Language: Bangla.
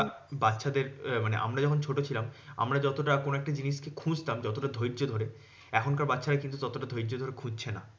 বাচ্চাদের আমরা যখন ছোট ছিলাম আমরা যতটা কোনো একটা জিনিসকে খুঁজতাম যতটা ধৈর্য ধরে, এখনকার বাচ্চারা কিন্তু ততটা ধৈর্য ধরে খুঁজছে না।